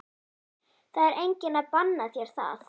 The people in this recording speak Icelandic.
Það er enginn að banna þér það.